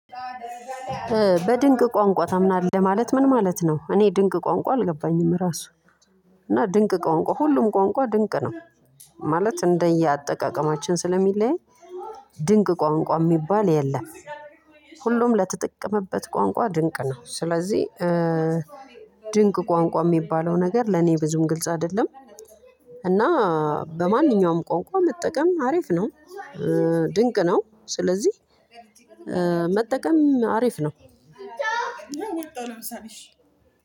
በድንቅ ቋንቋ ታምናለህ ማለት ምን? ማለት ነው እኔ ድንቅ ቋንቋ አልገባኝም ራሱ እና ድንቅ ቋንቋ ሁሉም ቋንቋ ድንቅ ነው። ማለት እንደየአጠቃቀማችን ስለሚለይ ድንቅ ቋንቋ የሚባል የለም። ሁሉም ለተጠቀመበት ቋንቋ ድንቅ ነው ስለዚህ። ቋንቋ የሚባለው ነገር ለኔ ብዙም ግልጽ አይደለም። እና በማንኛውም ቋንቋ መጠቀም አሪፍ ነው። ድንቅ ነው ስለዚህ። መጠቀም አሪፍ ነው። መጣሁ ለምሳሌ እሺ